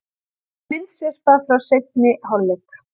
Myndasyrpa frá seinni hálfleik